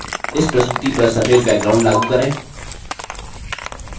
इस प्रस्तुति पर सफेद background लागू करें